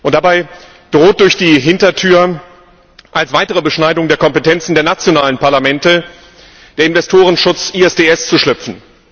Dabei droht durch die Hintertür als weitere Beschneidung der Kompetenzen der nationalen Parlamente der Investorenschutz ISDS zu schlüpfen.